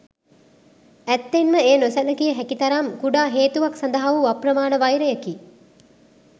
ඇත්තෙන්ම එය නොසැලකිය හැකි තරම් කුඩා හේතුවක් සඳහා වූ අප්‍රමාණ වෛරයකි.